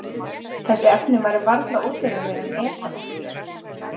Þessi efni væru varla ódýrari en etanól.